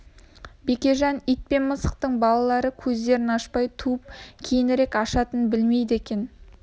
бекежан ит пен мысықтың балалары көздерін ашпай туып кейінірек ашатынын білмейді екен